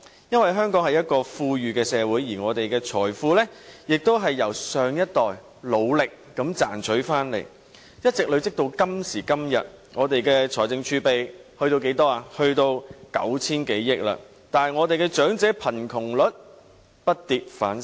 因為香港是一個富裕的社會，而我們的財富亦是由上一代努力地賺回來，一直累積至今時今日，香港的財政儲備達至 9,000 多億元，但香港的長者貧窮率卻不跌反升。